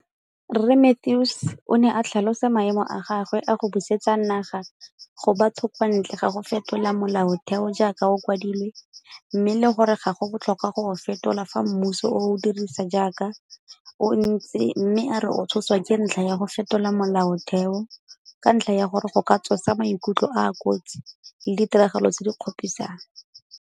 Rre Mathews o ne a tlhalosa maemo a gagwe a go busetsa naga go batho kwa ntle ga go fetola molaotheo jaaka o kwadilwe mme le gore ga go botlhokwa go o fetola fa mmuso o o dirisa jaaka o ntse mme a re o tshoswa ke ntlha ya go fetola molaotheo ka ntlha ya gore go ka tsosa maikutlo a a kotsi le ditiragalo tse di kgopisang.